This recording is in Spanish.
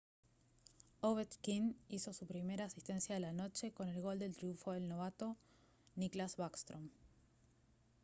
ovechkin hizo su primera asistencia de la noche con el gol del triunfo del novato nicklas backstrom